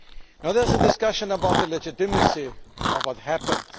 Now there is a discussion about the legitimacy of what happened.